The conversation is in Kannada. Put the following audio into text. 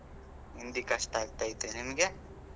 ಹಿಂದಿ ಕಷ್ಟ ಆಗ್ತೈತೆ, ನಿಮ್ಗೆ?